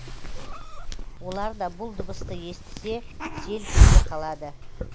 олар да бұл дыбысты естісе селк ете қалады